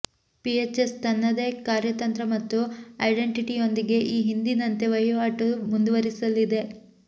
pH S ತನ್ನದೇ ಕಾರ್ಯತಂತ್ರ ಮತ್ತು ಐಡೆಂಟೆಟಿಯೊಂದಿಗೆ ಈ ಹಿಂದಿನಂತೆ ವಹಿವಾಟು ಮುಂದುವರೆಸಲಿದೆ